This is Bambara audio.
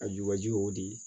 A jubaju y'o di